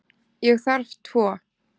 Ég þarf tvo.